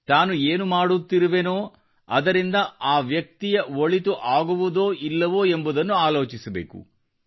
ತಾನು ಏನು ಮಾಡುತ್ತಿರುವೆನೋ ಅದರಿಂದ ಆ ವ್ಯಕ್ತಿಯ ಒಳಿತು ಆಗುವುದೋ ಇಲ್ಲವೋ ಎಂಬುದನ್ನು ಆಲೋಚಿಸಬೇಕು